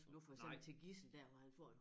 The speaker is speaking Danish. Som nu for eksempel til Gidsel der hvor han får en